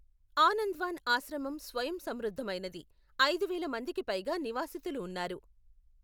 ఆనంద్వాన్ ఆశ్రమం స్వయం సమృద్ధమైనది, ఐదువేల మందికి పైగా నివాసితులు ఉన్నారు.